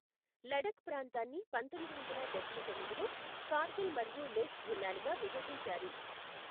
లడఖ్ ప్రాంత్రాన్ని పంతొమ్మిది వందల డబ్బై తొమ్మిదిలో కార్గిల్ మరియు లేహ్ జిల్లాలుగా విభజించారు.